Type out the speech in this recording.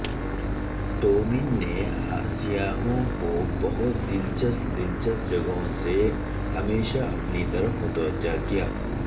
ٹومین نے سیاحوں کو بہت دلچسپ دلچسپ جگہوں سے ہمیشہ اپنی طرف متوجہ کیا ہے